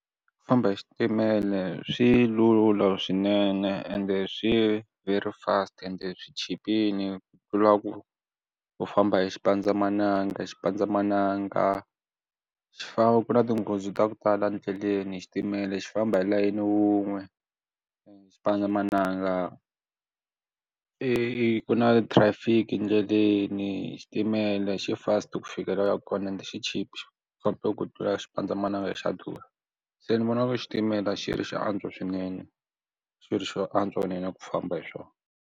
Ku famba hi xitimela swi lula swinene ende swi veri fast ende swichipile ku tlula ku ku famba hi xipandzamananga xipandzamananga xifambo ku na tinghozi ta ku tala endleleni xitimela xi famba hi layeni wun'we xipandzamananga i i ku na traffic etindleleni xitimela xi fast ku fika la u yaka kona ende xi chipile ngopfu ku tlula xipandzamananga xa durha se ni vona ku xitimela xi ri xi antswa swinene xi ri xo antswa swinene ku famba hi swona.